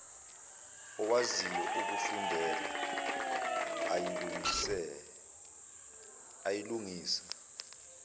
owaziyo okufundele ayilungise